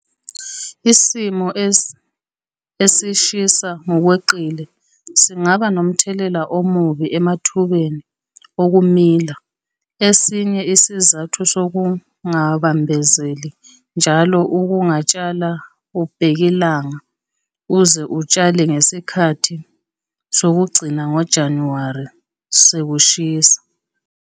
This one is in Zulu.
Isimo esishisa ngokweqile singaba nomthelela omubi emathubeni okumila - esinye isizathu sokungabambezeli njalo ukutshala ubhekilanga uze utshale ngesikhathi sokugcina ngoJanuwari sekushisa.